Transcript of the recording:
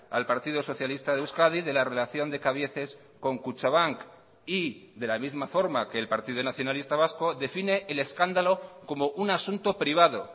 al partido socialista de euskadi de la relación de cabieces con kutxabank y de la misma forma que el partido nacionalista vasco define el escándalo como un asunto privado